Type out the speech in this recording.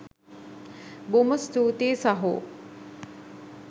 බොහොම ස්තූතියි සහෝ.